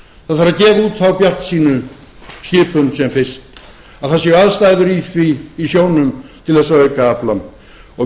það þarf að gefa út þá bjartsýnu skipun sem fyrst að það séu aðstæður í sjónum til þess að auka aflann og